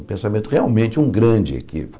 Um pensamento realmente, um grande equívoco.